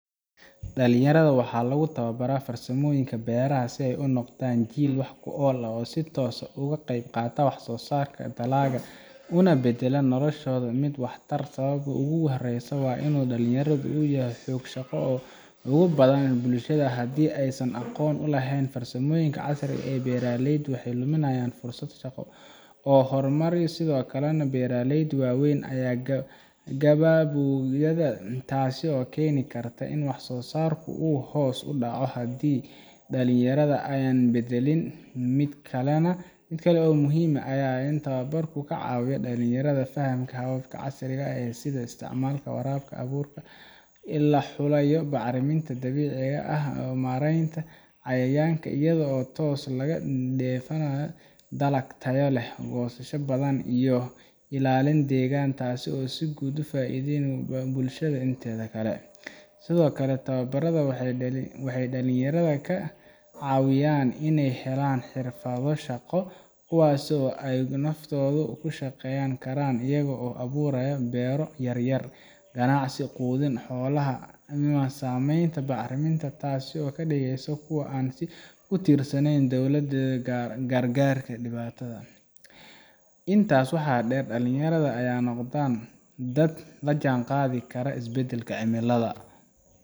Dalanyaradho waxa lagu tawabara farsamoyinka beeraha si ay unoqdan Jiil wax ku ol ah oo si toos ugu qeyb qaataa wax sosarka dalaga una badala nolashodha mid wax tar. Sawabta ugu horeyso wa inu dalanyaradho uyahay xoog shaqo ugubadhan bulashadha hdii aysan aqoon ulehen farsamoyinka casri ee beeraleyda waxay luminayan fursad shaqo oo hormari sidhokalena beeraleyda waweyn Aya gawabyoyadha taaso keeni Karta in wax sosarko hoos udaca hadii dalanyaradha ay badalin midkalo muhim aya inu tawabarka kacawiya dalanyaradha fahanka ee casriga sidha isticmalka qoralka aburka ila laxulayo bacraminta dabiciga ah oo mareynta cayayanka iyadho toos lagadefanayo talag Tayo leh goosasha badhan iyo ilalinta deegan taaso si guud faidheyni bulshada intedha kale. Sidhokale tawabaradha waxay dalanyaradha kacawiyaan in ay helaan xirfadho shaqo kuwaaso ay naftodha ugu shaqeyn Karan ayago aburayo beero yaryar ganacsi qudhin xolaha sameynta bacraminta taaso kadigeyso kuwa an si utirsanen dowladetha gaar gaarka dibatadha. Intaas waxaa deer dalanyaradho aya noqdan dad lajanqathi Kara isbadalka cimiladha.